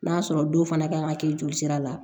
N'a sɔrɔ dɔw fana kan ka kɛ jolisira la